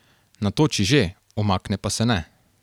Natoči že, umakne pa se ne.